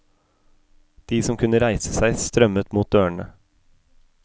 De som kunne reise seg, strømmet mot dørene.